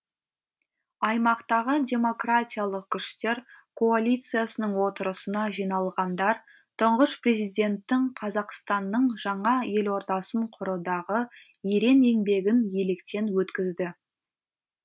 аймақтағы демократиялық күштер коалициясының отырысына жиналғандар тұңғыш президенттің қазақстанның жаңа елордасын құрудағы ерен еңбегін електен өткізді